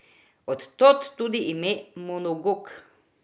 Od tod tudi ime mnogook.